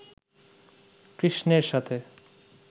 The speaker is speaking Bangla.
কৃষ্ণের সাথে